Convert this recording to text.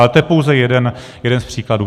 Ale to je pouze jeden z příkladů.